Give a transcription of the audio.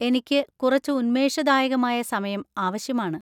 എനിക്ക് കുറച്ച് ഉന്മേഷദായകമായ സമയം ആവശ്യമാണ്.